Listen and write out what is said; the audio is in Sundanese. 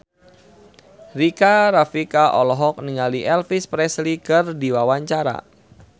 Rika Rafika olohok ningali Elvis Presley keur diwawancara